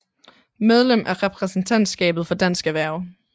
Medlem af repræsentantskabet for Dansk Erhverv